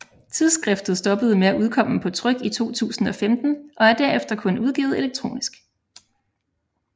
Tidsskriftet stoppede med at udkomme på tryk i 2015 og er derefter kun udgivet elektronisk